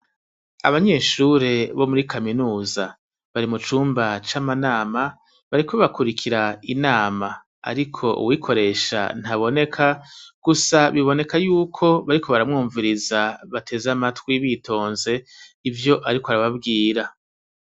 Abanyeshure bo muri kaminuza bari mu cumba c' amanama, bariko hakurikira inama. Ariko uwuyikoresha ntaboneka, gusa biboneka yuko bariko baramwumviriza, bateze amatwi bitonze ivyo ariko arababwira.